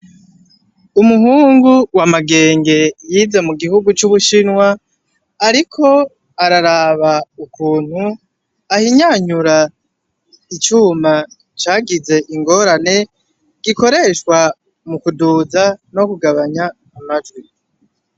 Umuhungu wa MAGENGE yize mu gihugu c'ubushinwa ariko araraba ukuntu ahinyanyura icuma cagize ingorane gikoreshwa mukuduza no kugabanya amajwi.